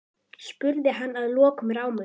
spurði hann að lokum rámur.